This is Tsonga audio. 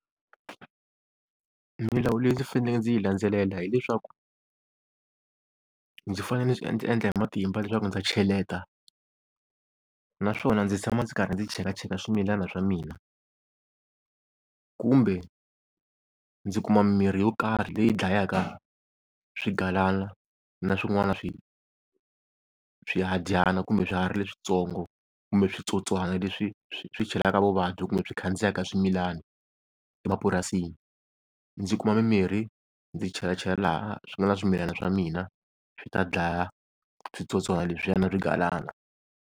Milawu leyi ndzi faneleke ndzi yi landzelela hi leswaku, ndzi fanele ndzi swi endla endla hi matimba leswaku ndza cheleta, naswona ndzi tshama ndzi karhi ndzi cheka cheka swimilana swa mina. Kumbe ndzi kuma mirhi yo karhi leyi dlayaka swigalana na swin'wana swihadyana kumbe swiharhi leswitsongo kumbe switsotswana leswi swi chelaka vuvabyi kumbe byi khandziyaka swimilana emapurasini. Ndzi kuma mimirhi ndzi chela chela laha swi nga na swimilana swa mina swi ta dlaya switsotswana leswiya na swigalana.